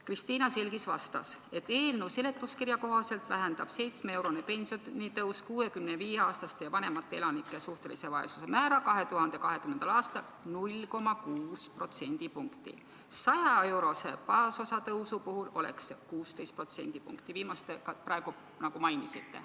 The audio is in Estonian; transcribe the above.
Kristiina Selgis vastas, et eelnõu seletuskirja kohaselt vähendab 7-eurone pensionitõus 65-aastaste ja vanemate elanike suhtelise vaesuse määra 2020. aastal 0,6 protsendipunkti, 100-eurose baasosa tõusu puhul oleks see vähenemine 16 protsendipunkti, seda viimast asja te praegu mainisite.